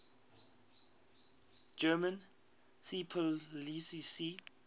german seepolizei sea